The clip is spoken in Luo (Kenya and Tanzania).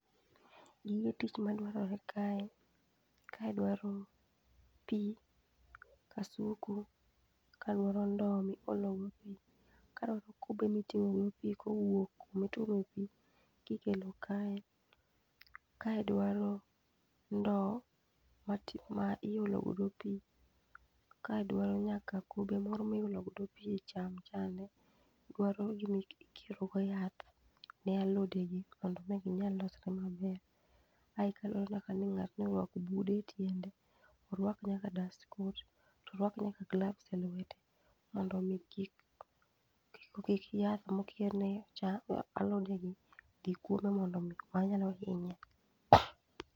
Gige tich madwarore kae, ka dwaro pi, kasuku, ka dwaro ndoo miologo pi, ka dwaro kube miting'o go pi kowuok kuma ituome pi kikelo kae, kae dwaro ndowo ma iolo godo pi, kae dwaro nyaka kube moro miolo godo pi e cham chande, dwaro gima iketogo yath ne alodegi mondo mi ginyal losre maber. ae kaluwore ni ng'ani oruako nyaka bude etiende. Oruako nyaka dust coat, to oruako nyaka gloves elwete mo ndo mi kik yath mokir ne alodegi dhi kuome mondo mi manyalo hinye.